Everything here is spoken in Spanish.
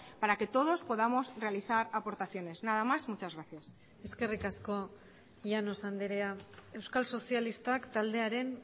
para que todos podamos realizar aportaciones nada más muchas gracias eskerrik asko llanos andrea euskal sozialistak taldearen